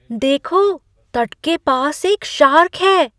देखो! तट के पास एक शार्क है!